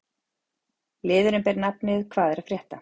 Liðurinn ber nafnið: Hvað er að frétta?